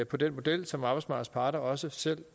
på den model som arbejdsmarkedsparter også selv